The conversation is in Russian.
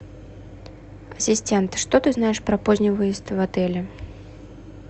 ассистент что ты знаешь про поздний выезд в отеле